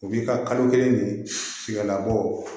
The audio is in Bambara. O b'i ka kalo kelen ni fiyɛla bɔ